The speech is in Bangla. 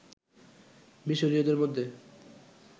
মিশরীয়দের মধ্যে